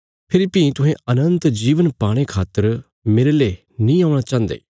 फेरी भीं तुहें अनन्त जीवन पाणे खातर मेरले नीं औणा चाहन्दे